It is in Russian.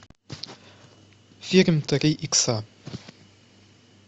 фильм три икса